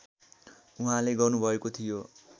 उहाँले गर्नुभएको थियो